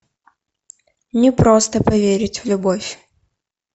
не просто поверить в любовь